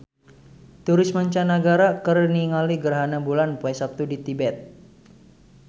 Turis mancanagara keur ningali gerhana bulan poe Saptu di Tibet